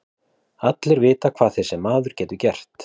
Allir vita hvað þessi maður getur gert.